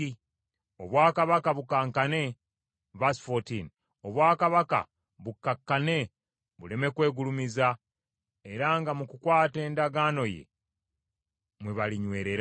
obwakabaka bukkakkane buleme kwegulumiza, era nga mu kukwata endagaano ye mwe balinywerera.